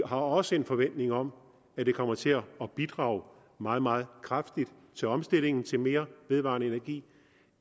har også en forventning om at det kommer til at bidrage meget meget kraftigt til omstillingen til mere vedvarende energi